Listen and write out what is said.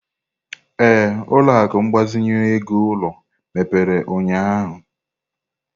Ee, ụlọ akụ ịgbazinye ego ulo mepere ụnyahụ.